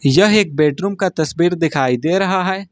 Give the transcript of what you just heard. यह एक बेडरूम का तस्वीर दिखाई दे रहा है।